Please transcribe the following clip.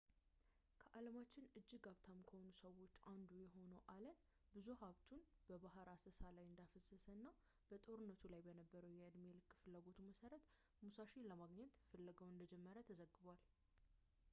ከዓለማችን እጅግ ሀብታም ከሆኑት ሰዎች አንዱ የሆነው አለን ብዙ ሀብቱን በባህር አሰሳ ላይ እንዳፈሰሰ እና በጦርነቱ ላይ በነበረው የዕድሜ ልክ ፍላጎቱ መሰረት ሙሳሺን ለማግኘት ፍለጋውን እንደጀመረ ተዘግቧል